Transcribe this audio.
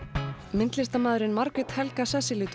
myndlistarmaðurinn Margrét Helga